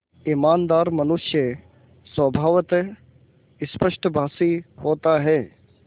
ईमानदार मनुष्य स्वभावतः स्पष्टभाषी होता है